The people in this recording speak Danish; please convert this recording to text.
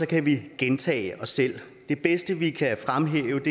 kan vi gentage os selv det bedste vi kan fremhæve